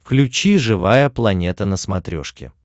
включи живая планета на смотрешке